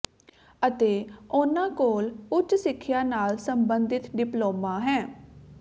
ਅਤੇ ਉਨ੍ਹਾਂ ਕੋਲ ਉਚ ਸਿੱਖਿਆ ਨਾਲ ਸੰਬੰਧਿਤ ਡਿਪਲੋਮਾ ਹੈ